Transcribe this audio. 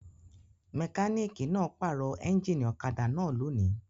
Mẹkáníkì náà pàrọ̀ ẹ́ńjínì ọ̀kadà náà lónìí.